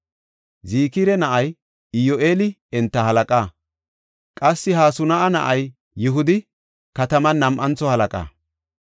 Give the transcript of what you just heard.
Zikira na7ay Iyyu7eeli enta halaqa; qassi Hasanu7a na7ay Yihudi kataman nam7antho halaqa.